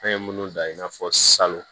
An ye minnu dan i n'a fɔ salon